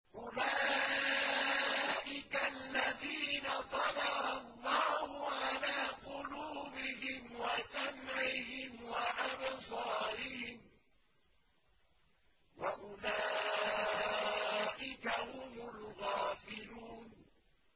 أُولَٰئِكَ الَّذِينَ طَبَعَ اللَّهُ عَلَىٰ قُلُوبِهِمْ وَسَمْعِهِمْ وَأَبْصَارِهِمْ ۖ وَأُولَٰئِكَ هُمُ الْغَافِلُونَ